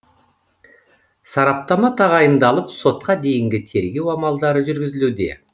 сараптама тағайындалып сотқа дейінгі тергеу амалдары жүргізілуде